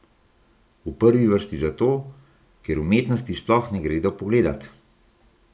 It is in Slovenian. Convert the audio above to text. V prvi vrsti zato, ker umetnosti sploh ne gredo pogledat!